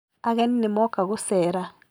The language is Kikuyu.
Ageni nĩ mooka gũceera